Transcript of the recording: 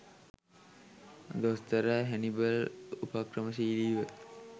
දොස්තර හැනිබල් උපක්‍රමශීලීව